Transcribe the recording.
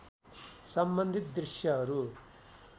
सम्बन्धित दृश्यहरू